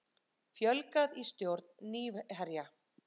Fjölgað í stjórn Nýherja